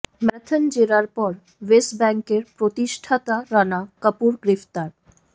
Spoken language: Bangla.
ম্যারাথন জেরার পর ইয়েস ব্যাঙ্কের প্রতিষ্ঠাতা রানা কাপুর গ্রেফতার